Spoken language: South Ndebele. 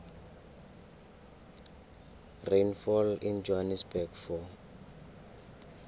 rainfall in johannesburg for